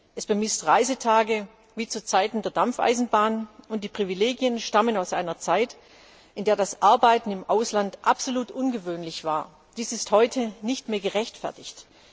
Es bemisst Reisetage wie zu Zeiten der Dampfeisenbahn, und die Privilegien stammen aus einer Zeit, in der das Arbeiten im Ausland absolut ungewöhnlich war. Dies ist heute nicht mehr gerechtfertigt.